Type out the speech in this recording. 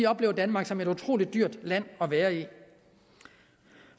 oplever danmark som et utrolig dyrt land at være i